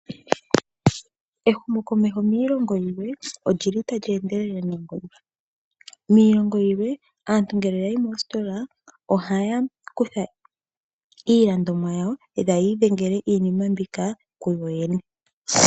Ehumokomeho miilongo yilwe olyi li tali endelele noonkondo. Miilongo yilwe aantu ngele ya yi mositola, ohaya kutha iilandomwa yawo, ita ye yi idhengele iinima mbika kuyoyene.